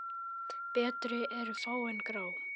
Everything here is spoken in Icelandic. Betri eru fá en grá?